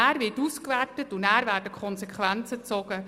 Danach wird es ausgewertet und die Konsequenzen gezogen.